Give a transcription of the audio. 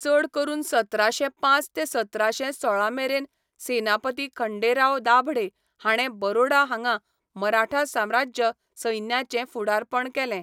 चड करून सतराशें पांच ते सतराशें सोळा मेरेन सेनापती खंडेराव दाभडे हाणें बरोडा हांगा मराठा साम्राज्य सैन्याचें फुडारपण केलें.